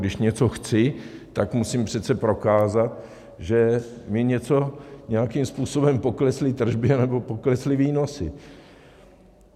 Když něco chci, tak musím přece prokázat, že mi něco, nějakým způsobem, poklesly tržby anebo poklesly výnosy.